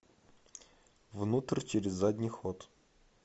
внутрь через задний ход